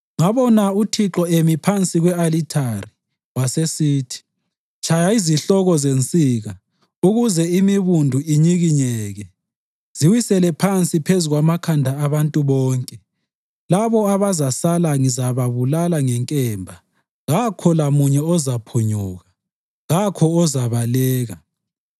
Ngabona uThixo emi phansi kwe-alithari, wasesithi: “Tshaya izihloko zensika ukuze imibundu inyikinyeke. Ziwisele phansi phezu kwamakhanda abantu bonke; labo abazasala ngizababulala ngenkemba. Kakho lamunye ozaphunyuka, kakho ozabaleka.